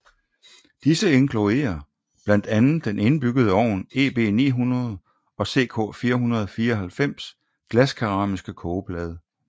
Disse inkluderer blandt andet den indbyggede ovn EB900 og CK494 glaskeramiske kogeplade